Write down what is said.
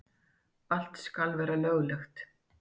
Allt skal vera löglegt.